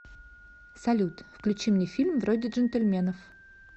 салют включи мне фильм вроде джентельменов